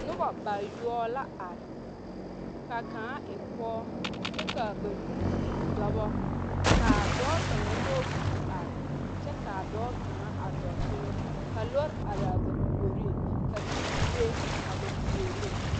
Noba bayoɔbo la are ka kaŋa e pɔge kyɛ ka a ba banuu e dɔbɔ ka a dɔɔ kaŋa nyɔge kuri are kyɛ ka a dɔɔ kaŋa a dɔɔ teŋɛ ka lɔre are a ba puoriŋ ka teere be a ba puoriŋ.